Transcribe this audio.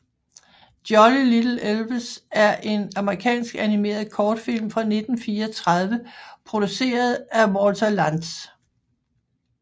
Jolly Little Elves er en amerikansk animeret kortfilm fra 1934 produceret af Walter Lantz